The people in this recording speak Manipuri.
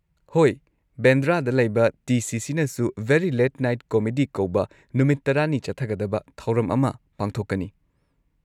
ꯍꯣꯏ, ꯕꯦꯟꯗ꯭ꯔꯥꯗ ꯂꯩꯕ ꯇꯤ.ꯁꯤ.ꯁꯤ.ꯅꯁꯨ 'ꯚꯦꯔꯤ ꯂꯦꯠ ꯅꯥꯏꯠ ꯀꯣꯃꯦꯗꯤ' ꯀꯧꯕ ꯅꯨꯃꯤꯠ ꯇꯔꯥꯅꯤ ꯆꯠꯊꯒꯗꯕ ꯊꯧꯔꯝ ꯑꯃ ꯄꯥꯡꯊꯣꯛꯀꯅꯤ꯫